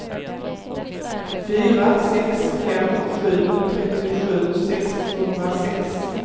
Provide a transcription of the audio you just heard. fyra sex fem sju trettiosju sexhundrasex